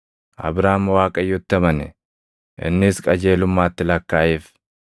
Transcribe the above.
Abraam Waaqayyotti amane; innis qajeelummaatti lakkaaʼeef.